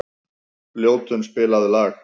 Ljótunn, spilaðu lag.